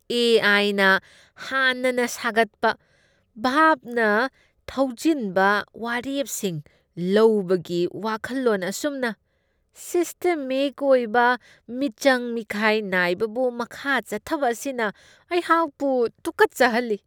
ꯑꯦ.ꯑꯥꯏ.ꯅ ꯍꯥꯟꯅꯅ ꯁꯥꯒꯠꯄ ꯚꯥꯞꯅ ꯊꯧꯖꯤꯟꯕ ꯋꯥꯔꯦꯞꯁꯤꯡ ꯂꯧꯕꯒꯤ ꯋꯥꯈꯜꯂꯣꯟ ꯑꯁꯨꯝꯅ ꯁꯤꯁꯇꯦꯃꯤꯛ ꯑꯣꯏꯕ ꯃꯤꯆꯪ ꯃꯤꯈꯥꯏ ꯅꯥꯏꯕꯕꯨ ꯃꯈꯥ ꯆꯠꯊꯕ ꯑꯁꯤꯅ ꯑꯩꯍꯥꯛꯄꯨ ꯇꯨꯀꯠꯆꯍꯜꯂꯤ꯫